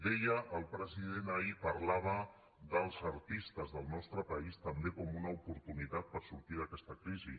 deia el president ahir parlava dels artistes del nostre país també com una oportunitat per sortir d’aquesta crisi